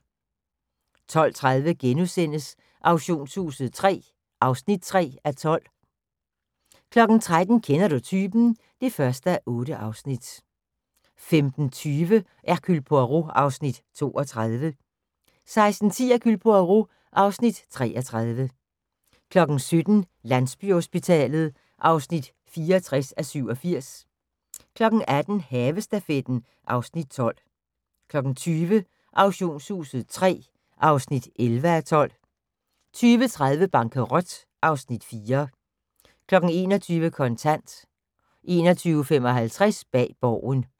12:30: Auktionshuset III (3:12)* 13:00: Kender du typen? (1:8) 15:20: Hercule Poirot (Afs. 32) 16:10: Hercule Poirot (Afs. 33) 17:00: Landsbyhospitalet (64:87) 18:00: Havestafetten (Afs. 12) 20:00: Auktionshuset III (11:12) 20:30: Bankerot (Afs. 4) 21:00: Kontant 21:55: Bag Borgen